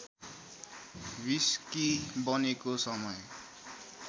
whisky बनेको समय